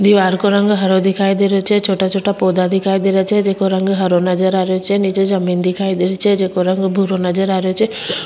दिवार को रंग हरो दिखाई दे रो छे छोटा छोटा पौधा दिखाई दे रो छे जेको रंग हरो नजर आ रेहो छे नीचे जमीन दिखाई दे री छे जेको रंग भूरो नजर आ रहो छे।